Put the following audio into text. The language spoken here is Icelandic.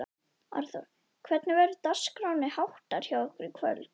Arnþór, hvernig verður dagskránni háttar hjá ykkur í kvöld?